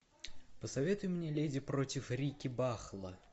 посоветуй мне леди против рикки бахла